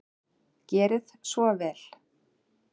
Gerið svo vel!